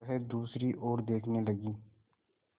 वह दूसरी ओर देखने लगी